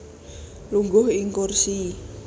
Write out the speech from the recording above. Lungguh ing kursi